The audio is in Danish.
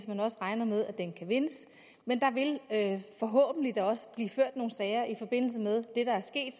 man regner med at den kan vindes men der vil da forhåbentlig også blive ført nogle sager i forbindelse med det der er sket